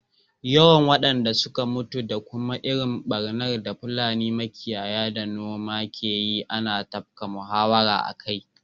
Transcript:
Yawan wadanda suka mutu da kuma irin barnar da Fulani makiyaya da manoma ke yi ana tafka muhawara akai.